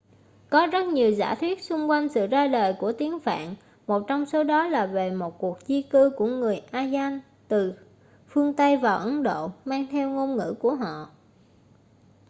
có rất nhiều giả thuyết xung quanh sự ra đời của tiếng phạn một trong số đó là về một cuộc di cư của người aryan từ phương tây vào ấn độ mang theo ngôn ngữ của họ